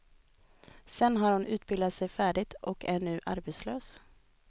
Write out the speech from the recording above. Sen har hon utbildat sig färdigt och är nu arbetslös.